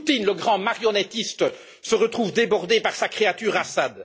Poutine, le grand marionnettiste, se retrouve débordé par sa créature, Assad.